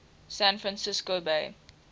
san francisco bay